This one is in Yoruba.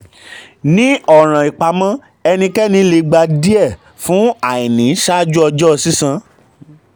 um ní ọ̀ràn ìpamọ́ ẹnikẹni le gba díẹ̀ fún um àìní ṣáájú um ọjọ́ sísan.